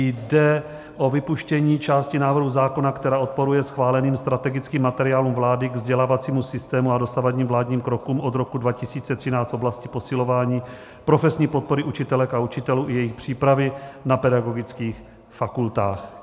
Jde o vypuštění části návrhu zákona, která odporuje schváleným strategickým materiálům vlády k vzdělávacímu systému a dosavadním vládním krokům od roku 2013 v oblasti posilování profesní podpory učitelek a učitelů i jejich přípravy na pedagogických fakultách.